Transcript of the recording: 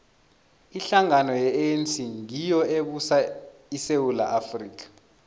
ihlangano ye anc ngiyo ebusa isewula afrika